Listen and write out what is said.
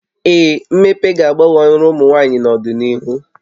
Ee, mmepe ga-agbanwe ọrụ ụmụ nwaanyị n'ọdịnihu